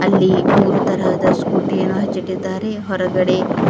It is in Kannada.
ಇಲ್ಲಿ ಮೂರು ತರಹದ ಸ್ಕೂಟಿ ಯನ್ನು ಹಚ್ಚಿ ಇಟ್ಟಿದ್ದಾರೆ ಹೊರಗಡೆ--